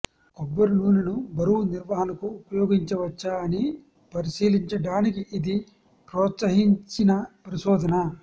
కొబ్బరి నూనెను బరువు నిర్వహణకు ఉపయోగించవచ్చా అని పరిశీలించడానికి ఇది ప్రోత్సహించిన పరిశోధన